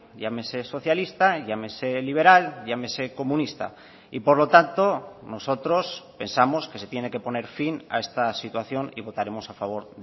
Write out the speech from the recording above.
llámese socialista llámese liberal llámese comunista y por lo tanto nosotros pensamos que se tiene que poner fin a esta situación y votaremos a favor